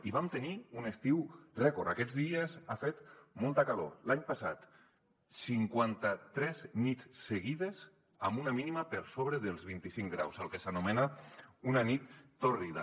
i vam tenir un estiu rècord aquests dies ha fet molta calor l’any passat cinquanta tres nits seguides amb una mínima per sobre dels vint i cinc graus el que s’anomena una nit tòrrida